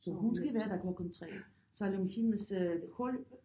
Så hun skal være der klokken 3 selvom hendes hold